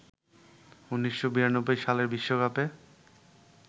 ১৯৯২ সালের বিশ্বকাপে